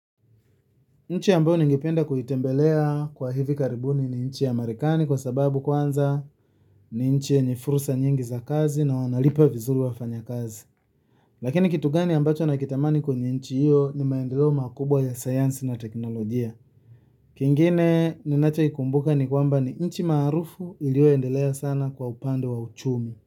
Nchi ambayo ningependa kuitembelea kwa hivi karibuni ni nchi ya Marekani kwa sababu kwanza. Ni nchi yenye fursa nyingi za kazi na wanalipa vizuri wafanyakazi. Lakini kitu gani ambacho nakitamani kwenye nchi hiyo ni maendeleo makubwa ya sayansi na teknolojia. Kingine ninachokikumbuka ni kwamba ni nchi maarufu iliyoendelea sana kwa upande wa uchumi.